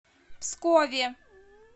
пскове